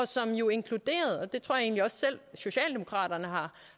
som jo inkluderede og det tror jeg også selv socialdemokraterne